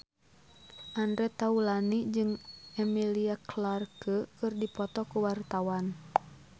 Andre Taulany jeung Emilia Clarke keur dipoto ku wartawan